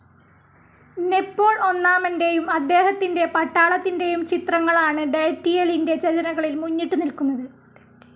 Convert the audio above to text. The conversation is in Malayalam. നെപോൾ ഒന്നാമൻ്റെയും അദ്ദേഹത്തിൻ്റെ പട്ടാളത്തിൻ്റെയും ചിത്രങ്ങളാണ് ഡെറ്റയിലിൻ്റെ രചനകളിൽ മുന്നിട്ടു നിൽക്കുന്നത്.